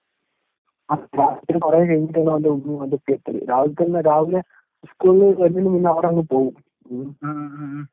ആറുമണി കഴിഞ്ഞിട്ടേ അവൻ്റെ മാതാപിതാക്കൾ എത്തുകയുള്ളൂ. രാവിലെ തന്നെ രാവിലെ സ്കൂളില് വരുന്നതിനു മുന്നേ അവരങ്ങു പോകും